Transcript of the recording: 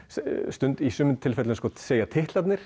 í sumum tilfellum segja titlarnir